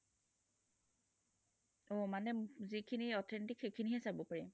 অ মানে যিখিনি authentic সেইখিনি হে চাব পাৰি